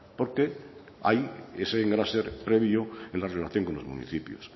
porque hay ese engrase previo en la relación con los municipios